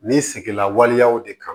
Ni sigila waleyaw de kan